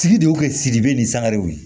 Sigi de do sigida bɛ nin sangarew ye